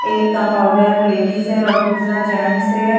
एक compounder ladies है और दूसरा जेन्ट्स है।